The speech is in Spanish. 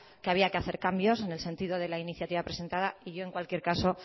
que había que hacer cambios en el sentido de la iniciativa presentada y yo en cualquier caso